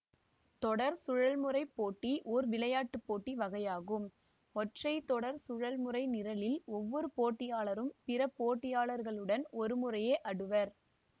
தொடர் சுழல்முறைப் போட்டி ஓர் விளையாட்டு போட்டி வகையாகும் ஒற்றை தொடர் சுழல்முறை நிரலில் ஒவ்வொரு போட்டியாளரும் பிற போட்டியாளர்களுடன் ஒருமுறையே அடுவர்